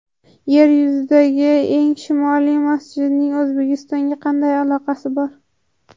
Yer yuzidagi eng shimoliy masjidning O‘zbekistonga qanday aloqasi bor?.